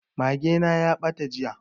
Mage na ya ɓata jiya